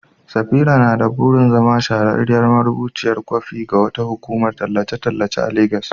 Safira na da burin zama shahararriyar marubuciyar kwafi ga wata hukumar tallace-tallace a Legas.